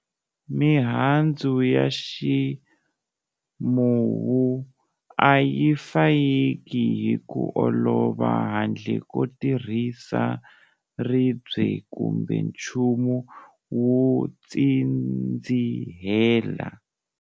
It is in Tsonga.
Mihandzu ya ximuwu a yi fayeki hi ku olova handle ko tirhisa ribye kumbe nchumu wo tsindzihela.